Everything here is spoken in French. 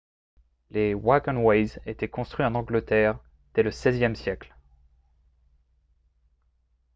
les « wagonways » étaient construits en angleterre dès le xvième siècle